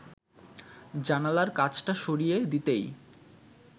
জানালার কাচটা সরিয়ে দিতেই